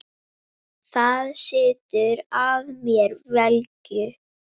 Það setur að mér velgju.